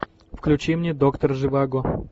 включи мне доктор живаго